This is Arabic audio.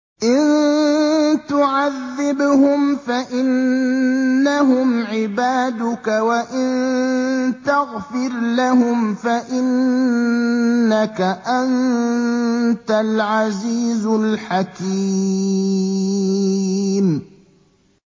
إِن تُعَذِّبْهُمْ فَإِنَّهُمْ عِبَادُكَ ۖ وَإِن تَغْفِرْ لَهُمْ فَإِنَّكَ أَنتَ الْعَزِيزُ الْحَكِيمُ